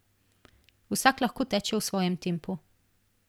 Vsak lahko teče v svojem tempu.